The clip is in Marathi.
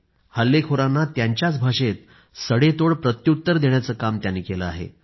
तिथेच हल्लेखोरांना त्यांच्याच भाषेत सडेतोड प्रत्युत्तर देण्याचं काम त्यांनी केलं आहे